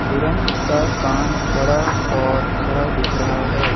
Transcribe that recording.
हिरन का कान बड़ा और खड़ा दिख रहा है।